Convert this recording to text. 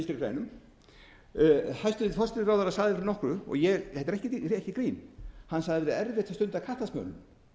hæstvirtur forsætisráðherra sagði fyrir nokkru og ég þetta er ekki grín hann sagði það væri erfitt að stunda kattasmölun